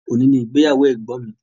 Òní ni ìgbéyàwó ẹ̀gbọ́n mi.